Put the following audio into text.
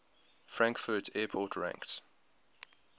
frankfurt airport ranks